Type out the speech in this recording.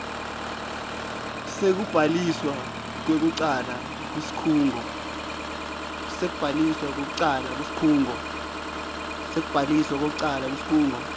sekubhaliswa kwekucala kusikhungo